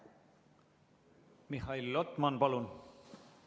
Mihhail Lotman, palun!